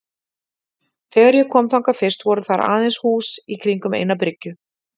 Þegar ég kom þangað fyrst voru þar aðeins nokkur hús í kringum eina byggju.